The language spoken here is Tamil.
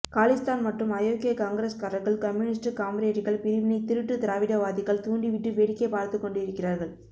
காலிஸ்தான் மற்றும் அயோக்கிய காங்கிரஸ்காரர்கள் கம்யூனிஸ்ட் காம்ரேடுகள் பிரிவினை திருட்டு திராவிட வாதிகள் தூண்டிவிட்டு வேடிக்கை பார்த்துக் கொண்டு இருக்கிறார்கள்